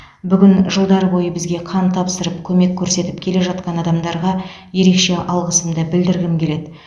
бүгін жылдар бойы бізге қан тапсырып көмек көрсетіп келе жатқан адамдарға ерекше алғысымды білдіргім келеді